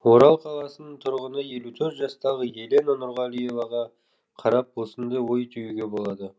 орал қаласының тұрғыны елу төрт жастағы елена нұрғалиеваға қарап осындай ой түюге болады